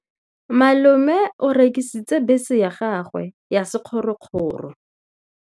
Malome o rekisitse bese ya gagwe ya sekgorokgoro.